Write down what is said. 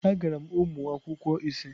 Agara m ụmụ akwụkwọ ise.